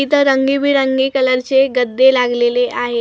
इथं रंगीबेरंगी कलरचे गद्दे लागलेले आहेत .